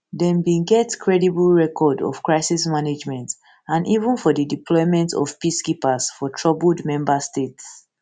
dem bin get creditable record of crisis management and even for di deployment of peacekeepers for troubled member states